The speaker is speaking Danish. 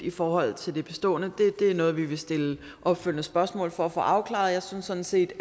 i forhold til det bestående det er noget vi vil stille opfølgende spørgsmål om for at få afklaret jeg synes sådan set